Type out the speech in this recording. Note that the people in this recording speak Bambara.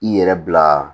I yɛrɛ bila